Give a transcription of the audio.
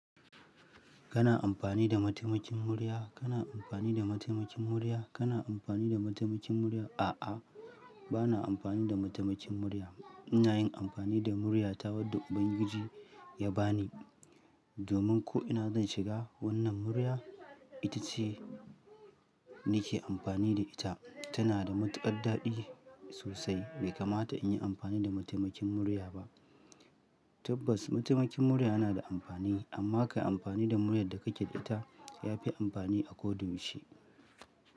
Kana amfani da mataimakin murya? Kana amfani da mataimakin murya? Kana amfani da mataimakin murya? A'a, ba na amfani da mataimakin murya. Ina yin amfani da murya ta wanda Ubangiji ya ba ni. Domin ko ina zan shiga, wannan murya ita ce nake amfani da ita. Tana da matukar daɗi sosai. Bai kamata in yi amfani da mataimakin murya ba. Tabbas, mataimakin murya yana da amfani, amma ka yi amfani da muryar da kake da ita ya fi amfani a ko da yaushe.